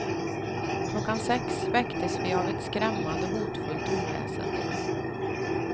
Klockan sex väcktes vi av ett skrämmande hotfullt oväsen.